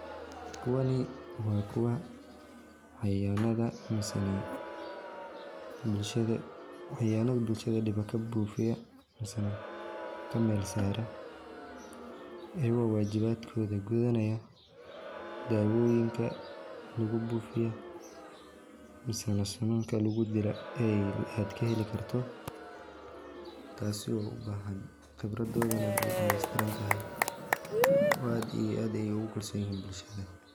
Kuwani waa kuwa cayayanafa misena catayana bulshada diba kabuufiya misena kamel saara ayago wajibadkoda gudanaya, daawoyinka lugu buufiyo misena sununka lugu dila ad kaheli karto taasi oo u bahan qibradoodi na way dhameestirantahay oo aad iyo aad ay ogu kalson yihiin bulshada